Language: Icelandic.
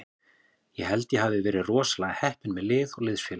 Ég held að ég hafi verið rosalega heppinn með lið og liðsfélaga.